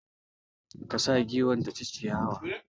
Ka sa giwar ta ci ciyawa!